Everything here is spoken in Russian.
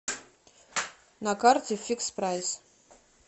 на карте фикс прайс